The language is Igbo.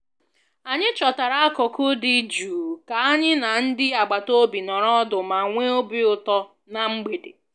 anyị chọtara akụkụ dị jụụ ka anyị na ndị agbata obi nọrọ ọdụ ma nwee obi ụtọ ná mgbede